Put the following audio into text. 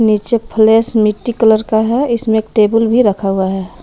नीचे फलैश मिट्टी कलर का है इसमें टेबुल भी रखा हुआ है।